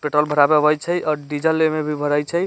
पेट्रोल भरावे आवे छै आ डीजल भरय छै।